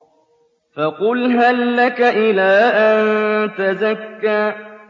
فَقُلْ هَل لَّكَ إِلَىٰ أَن تَزَكَّىٰ